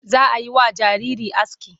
Za a yi wa jariri aski.